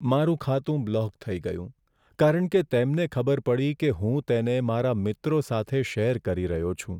મારું ખાતું બ્લોક થઈ ગયું કારણ કે તેમને ખબર પડી કે હું તેને મારા મિત્રો સાથે શેર કરી રહ્યો છું.